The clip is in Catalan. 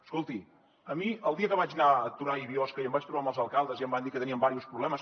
escolti a mi el dia que vaig anar a torà i biosca i em vaig trobar amb els alcaldes i em van dir que tenien diversos problemes